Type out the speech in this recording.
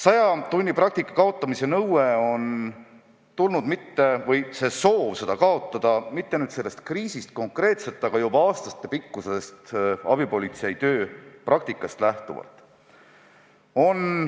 Saja tunni praktika kaotamise nõue või soov seda kaotada ei ole tulnud mitte konkreetselt sellest kriisist, vaid lähtub aastatepikkusest abipolitseiniku töö praktikast.